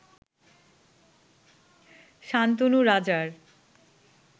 শান্তনু রাজার